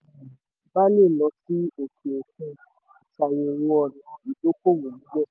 tí o um bá lè lọ sí òkè òkun ṣàyẹ̀wò ọ̀nà ìdókòwò níbẹ̀.